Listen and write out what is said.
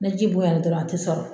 Ni ji boyan na dɔrɔn a ti sɔrɔ